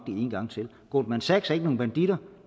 en gang til goldman sachs er ikke nogen banditter